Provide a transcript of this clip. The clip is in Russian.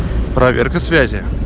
проверка связи